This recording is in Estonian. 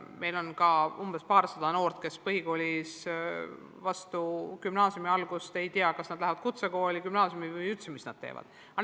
Meil on ka umbes paarsada noort, kes põhikoolis, enne gümnaasiumi algust veel ei tea, kas nad lähevad edasi kutsekooli või gümnaasiumi või mida nad üldse kavatsevad teha.